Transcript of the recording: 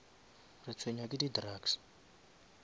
retshwenya ke di drugs